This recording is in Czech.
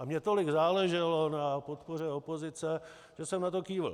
A mně tolik záleželo na podpoře opozice, že jsem na to kývl.